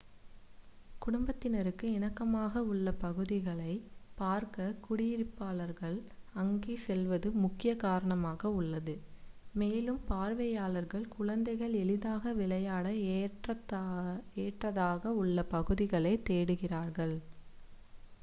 குடும்பத்தினருக்கு இணக்கமாக உள்ள பகுதிகளை பார்க்க குடியிருப்பாளர்கள் அங்கே செல்வது முக்கிய காரணமாக உள்ளது மேலும் பார்வையாளர்கள் குழந்தைகள் எளிதாக விளையாட ஏற்றதாக உள்ள பகுதிகளைத் தேடுகிறார்கள்